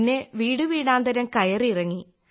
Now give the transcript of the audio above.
പിന്നെ വീടു വീടാന്തരം കയറി ഇറങ്ങി